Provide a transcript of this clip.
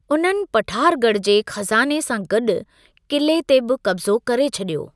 उन्हनि पठारगढ़ जे खज़ाने सां गॾु किले ते बि कब्ज़ो करे छॾियो।